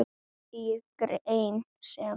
Í grein sem